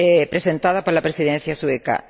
presentada por la Presidencia sueca.